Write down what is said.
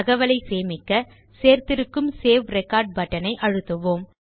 தகவலை சேமிக்க சேர்த்திருக்கும் சேவ் ரெக்கார்ட் பட்டன் ஐ அழுத்துவோம்